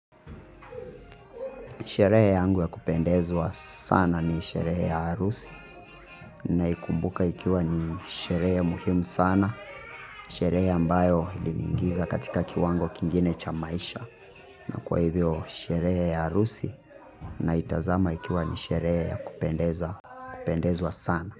Sherehe yangu ya kupendezwa sana ni sherehe ya harusi. Naikumbuka ikiwa ni sherehe muhimu sana. Sherehe ambayo iliniingiza katika kiwango kingine cha maisha na kwa hivyo sherehe ya harusi naitazama ikiwa ni sherehe ya kupendezwa sana.